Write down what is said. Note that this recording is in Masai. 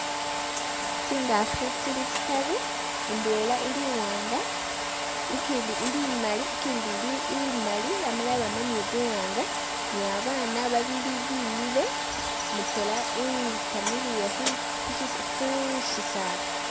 Tsingafu tsili tsitaru, indwela ili iwanga, ikindi ili imali, ikindi ili imali yamala yabamo nibuwanga, ni babana babili bimile, mutwela wikamiliye khu- khu- khu shisaala